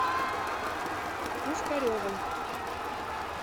пушкаревой